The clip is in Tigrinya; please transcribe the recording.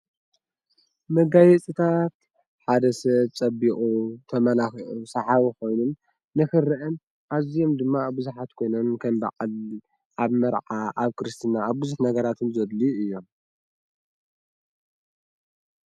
መጋየፂታት ሓደ ሰብ ፀቢቑ ተመላኺዑ ሳሓቢ ኾይኑን ንክረአን ኣዝዮም ድማ ብዙሓት ኮይኖምን ከም በዓል፣ ኣብ መርዓ፣ ኣብ ክርስትና ኣብ ብዝሕ ነገራት እዉን ዘድልዩ እዮም ፡፡